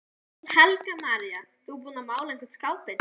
Helga María: Þú búinn að mála einhvern skápinn?